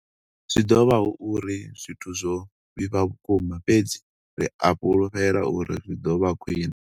Zwi ḓo vha hu uri zwithu zwo vhifha vhukuma, fhedzi ri a fhulufhela uri zwi ḓo vha khwiṋe.